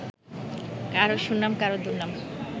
কারো সুনাম, কারো দুর্নাম